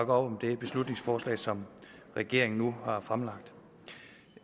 om det beslutningsforslag som regeringen nu har fremsat